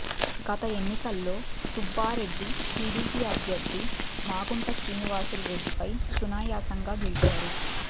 గత ఎన్నికల్లో సుబ్బారెడ్డి టీడీపీ అభ్యర్ధి మాగుంట శ్రీనివాసులు రెడ్డిపై సునాయసంగా గెలిచారు